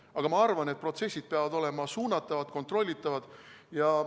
Aga ma arvan, et protsessid peavad olema suunatavad, kontrollitavad.